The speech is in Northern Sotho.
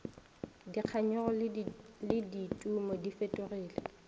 dikganyogo le ditumo di fetogile